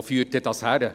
Wo führt dies hin?».